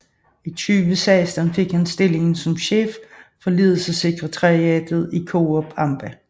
I 2016 fik han stillingen som Chef for Ledelsessekretariatet i Coop amba